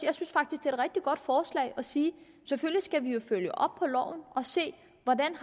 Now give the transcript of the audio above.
så godt forslag at sige at selvfølgelig skal vi følge op på loven og se hvordan